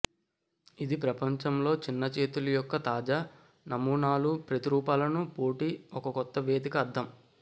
ఇది ప్రపంచంలో చిన్న చేతులు యొక్క తాజా నమూనాలు ప్రతిరూపాలను పోటీ ఒక కొత్త వేదిక అర్థం